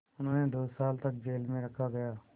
उन्हें दो साल तक जेल में रखा गया